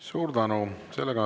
Suur tänu!